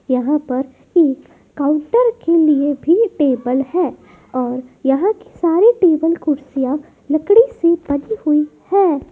यहाँ पर एक काउंटर के लिए भी टेबल है और यहाँ के सारे टेबल कुर्सियाँ लकड़ी से बनी हुई है।